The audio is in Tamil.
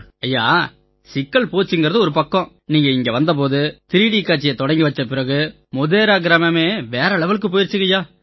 ஐயா சிக்கல் போச்சுங்கறது ஒரு பக்கம் நீங்க இங்க வந்த போது 3டி காட்சியை தொடங்கி வச்சதுக்குப் பிறகு மோடேரா கிராமமே வேற லெவலுக்கு போயிருச்சுங்கய்யா